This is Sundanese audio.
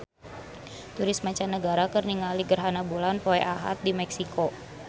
Turis mancanagara keur ningali gerhana bulan poe Ahad di Meksiko